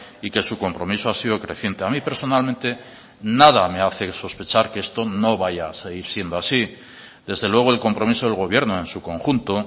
y que su compromiso ha sido creciente a mí personalmente nada me hace sospechar que esto no vaya a seguir siendo así desde luego el compromiso del gobierno en su conjunto